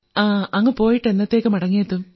അങ്ങ് പോയിട്ട് എന്നത്തേക്ക് മടങ്ങിയെത്തും